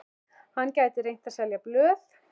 Hann gæti reynt að selja blöð.